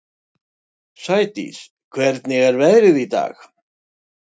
Sædís, hvernig er veðrið í dag?